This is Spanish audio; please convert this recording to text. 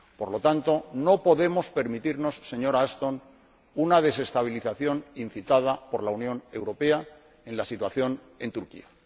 Por lo tanto, no podemos permitirnos, señora Ashton, una desestabilización incitada por la Unión Europea de la situación en Turquía.